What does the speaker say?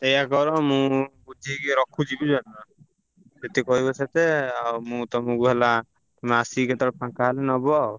ସେୟା କର ମୁଁ ଠିକ୍ ରଖୁଛି ବୁଝିପାରୁଛ। ଯେତେ କହିବ ସେତେ ଆଉ ମୁଁ ତମୁକୁ ହେଲା ତମେ ଆସିକି କେତବେଳେ ଫାଙ୍କା ହେଲେ ନବ ଆଉ।